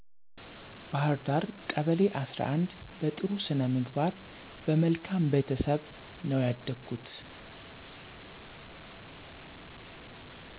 ባህርዳ ቀበሌ11 በጥሩ ስነምግባር በመልካም ቤተሰብ ነው ያደኩት